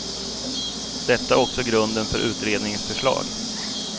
Detta är också grunden för utredningens förslag.